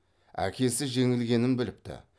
әкесі жеңілгенін біліпті